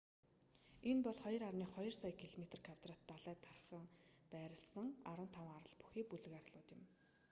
энэ бол 2,2 сая км2 далайд тархан байрласан 15 арал бүхий бүлэг арлууд юм